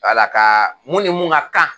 Wala ka mun ni mun ka kan